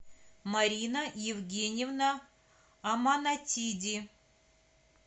марина евгеньевна аманатиди